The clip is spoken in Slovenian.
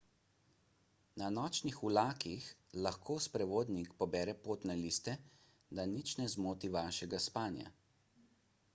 na nočnih vlakih lahko sprevodnik pobere potne liste da nič ne zmoti vašega spanja